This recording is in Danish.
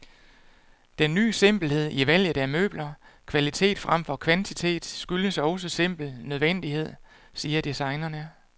Den ny simpelhed i valget af møbler, kvalitet fremfor kvantitet, skyldes også simpel nødvendighed, siger designerne.